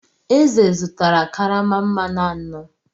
Eze zụtara karama mmanụ anọ.